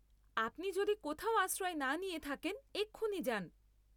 আপনি যদি কোথাও আশ্রয় না নিয়ে থাকেন, এক্ষুনি যান।